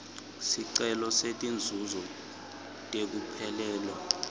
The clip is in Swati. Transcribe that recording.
sicelo setinzuzo tekuphelelwa